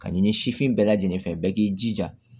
Ka ɲini sifin bɛɛ lajɛlen fɛ bɛɛ k'i jija